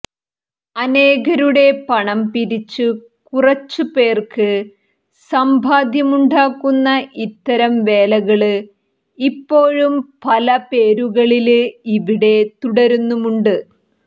അനേകരുടെ പണം പിരിച്ച് കുറച്ചു പേര്ക്ക് സമ്പാദ്യമുണ്ടാക്കുന്ന ഇത്തരം വേലകള് ഇപ്പോഴും പല പേരുകളില് ഇവിടെ തുടരുന്നുമുണ്ട്